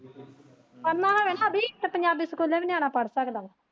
ਪੜਣਾ ਹੋਵੇ ਨਾ ਅਭੀ ਤਾਂ ਪੰਜਾਬੀ ਸਕੂਲੇ ਵੀ ਨਿਆਣਾ ਪੜ ਸਕਦਾ।